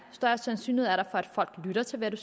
større sandsynlighed er der for at folk lytter til hvad